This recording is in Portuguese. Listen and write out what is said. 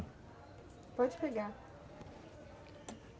Pode pegar.